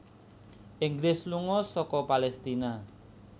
Inggris lunga saka Palestina